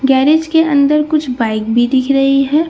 Garage के अंदर कुछ बाइक भी दिख रही है।